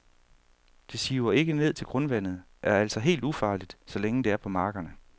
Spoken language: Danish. Det siver ikke ned til grundvandet, er altså helt ufarligt, så længe det er på markerne.